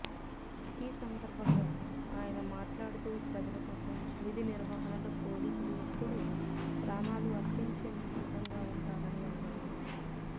ఈ సందర్భంగా అయన మాట్లాడుతూ ప్రజల కోసం విధి నిర్వహణలో పోలీసులు ఎప్పుడు ప్రాణాలు అర్పించేందుకు సిద్దంగా ఉంటారని అన్నారు